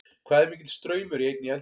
hvað er mikill straumur í einni eldingu